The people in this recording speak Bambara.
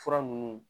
Fura ninnu